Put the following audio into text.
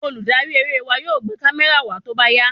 Olùdarí eré wa yóò gbé kamẹra wa tóbá yá